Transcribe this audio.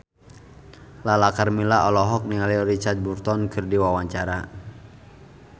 Lala Karmela olohok ningali Richard Burton keur diwawancara